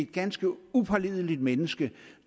ganske upålideligt menneske